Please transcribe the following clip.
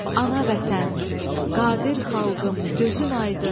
Ana Vətən, qadir xalqım gözün aydın.